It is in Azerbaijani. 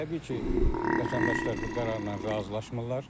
Təbii ki, vətəndaşlar bu qərarla razılaşmırlar.